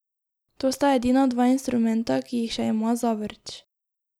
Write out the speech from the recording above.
To sta edina dva instrumenta, ki jih še ima Zavrč.